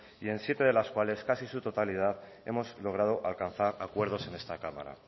y en siete de las cuales casi su totalidad hemos logrado alcanzar acuerdos en esta cámara